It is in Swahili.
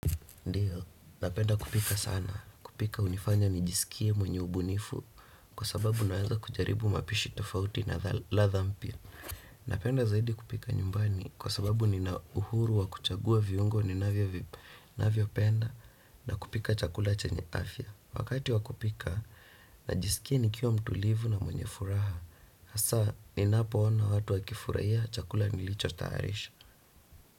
Ndiyo, napenda kupika sana, kupika hunifanya nijisikie mwenye ubunifu, kwa sababu naanza kujaribu mapishi tofauti na ladha mpya. Napenda zaidi kupika nyumbani, kwa sababu nina uhuru wa kuchagua viungo ninavyo vip, navyopenda na kupika chakula chenye afya. Wakati wakupika, najiskia nikiwa mtulivu na mwenye furaha, hasaa ninapoona watu wakifurahia chakula nilicho tayarisha.